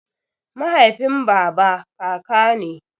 Mahaifin baba kaka ne.